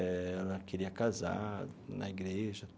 Eh ela queria casar na igreja.